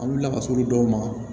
An wulila ka se olu dɔw ma